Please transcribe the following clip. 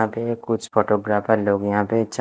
यहाँ पे कुछ फोटोग्राफर लोग यहाँ पे च--